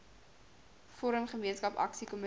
forum gemeenskap aksiekomitees